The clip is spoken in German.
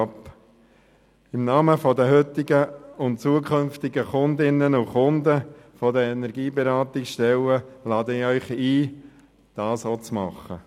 Im Namen der heutigen und zukünftigen Kundinnen und Kunden der Energieberatungsstellen, lade ich Sie ein, dies ebenfalls zu tun.